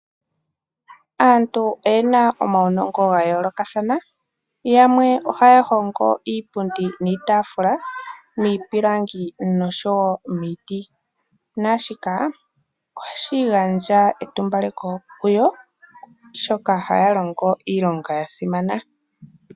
Aantu oyena omaunongo ga yoolokathana yamwe ohaya hongo iipundi niitafula miipilangi nomiiti naashika ohashi gandja etumbaleko kuyo oshoka ohaya longo iilonga ya simana.